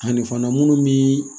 Ani fana minnu bi